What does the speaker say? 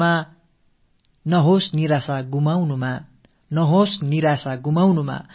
தங்கதின் மீது குறி வைப்போம்